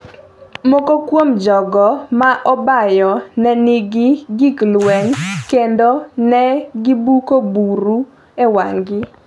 Moko kuom jogo ma obaayo ne nigi gik lweny kendo ne gibuko buru e wang’gi.